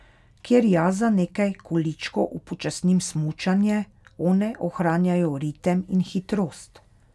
Kjer jaz za nekaj količkov upočasnim smučanje, one ohranjajo ritem in hitrost.